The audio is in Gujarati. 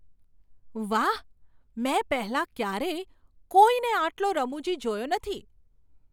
વાહ! મેં પહેલાં ક્યારેય કોઈને આટલો રમૂજી જોયો નથી!